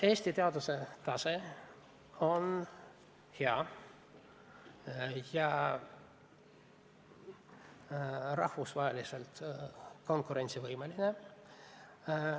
Eesti teaduse tase on hea, oleme rahvusvaheliselt konkurentsivõimelised.